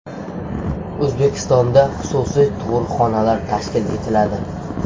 O‘zbekistonda xususiy tug‘ruqxonalar tashkil etiladi.